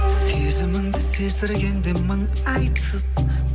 сезіміңді сездіргенде мың айтып